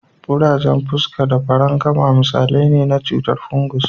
Kurajen fuska da farankama misalai ne na cutar fungus.